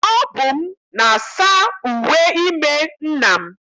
Ọ bụ m na-asa uwe ime nna m.